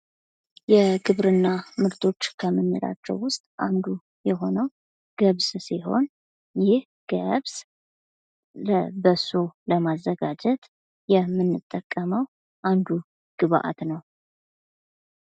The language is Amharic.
የግብርና ምርቶችን ወደ ገበያ ማቅረብና ተወዳዳሪ ማድረግ የመንግስትና የባለድርሻ አካላት የትኩረት አቅጣጫ መሆን አለበት።